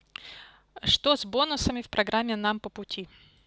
что с бонусами в программе нам по пути